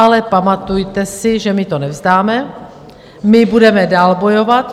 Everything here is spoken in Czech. Ale pamatujte si, že my to nevzdáme, my budeme dál bojovat.